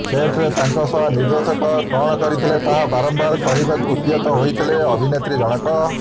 ସେଟରେ ତାଙ୍କ ସହ ନିର୍ଦ୍ଦେଶକ କଣ କରିଥିଲେ ତାହା ବାରମ୍ବାର କହିବାକୁ ଉଦ୍ୟତ ହୋଇଥିଲେ ଅଭିନେତ୍ରୀ ଜଣକ